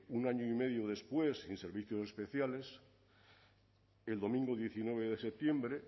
un año y medio después en servicios especiales el domingo diecinueve de septiembre